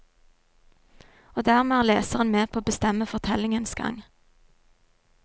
Og dermed er leseren med på å bestemme fortellingens gang.